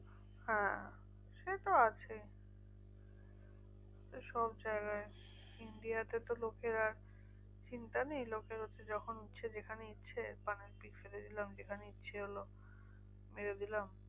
হ্যাঁ সেতো আছেই সবজায়গায় India তে তো লোকের আর চিন্তা নেই লোকের হচ্ছে যখন ইচ্ছে যেখানে ইচ্ছে পানের পিক ফেলে দিলাম। যেখানে ইচ্ছে হলো মেরে দিলাম।